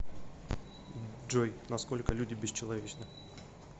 джой на сколько люди бесчеловечны